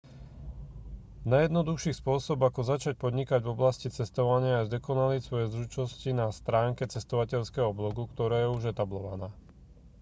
najjednoduchší spôsob ako začať podnikať v oblasti cestovania je zdokonaliť svoje zručnosti na stránke cestovateľského blogu ktorá je už etablovaná